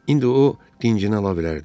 İndi o dincinə ala bilərdi.